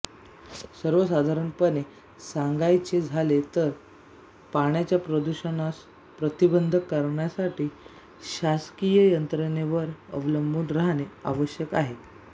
सर्वसाधारणपणे सांगायचे झाले तर पाण्याच्या प्रदूषणास प्रतिबंध करण्यासाठी शासकीय यंत्रणेवर अवलंबून राहणे आवश्यक आहे